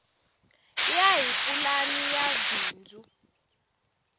ya hi pulani ya bindzu